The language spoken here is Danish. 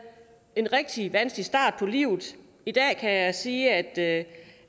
en rigtig vanskelig start på livet i dag kan jeg sige at